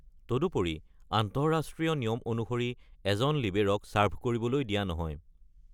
তদুপৰি আন্তঃৰাষ্ট্ৰীয় নিয়ম অনুসৰি এজন লিবেৰ’ক চাৰ্ভ কৰিবলৈ দিয়া নহয়।